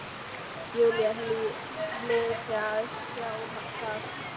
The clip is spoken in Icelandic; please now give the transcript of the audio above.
Júlía hlyti að sjá það.